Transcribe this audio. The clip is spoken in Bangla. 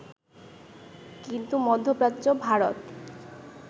কিন্তু মধ্যপ্রাচ্য, ভারত